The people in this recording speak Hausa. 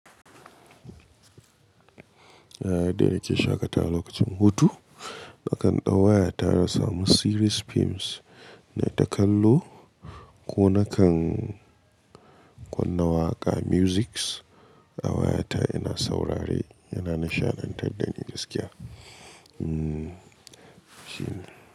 Ehh, dai yake shaƙatawa lokacin hutu. Nakan ɗau waya tara samu series films ne takallo ko nakan kunna waƙa musics a wayata ina saurare yana nishaɗantar da ni gaskiya. Umm shi ne.